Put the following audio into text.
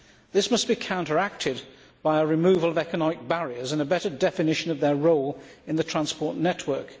This must be counteracted by the removal of economic barriers and a better definition of their role in the transport network.